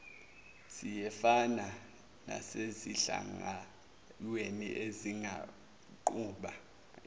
siyefana nasezinhlanganweni ezingaqhuba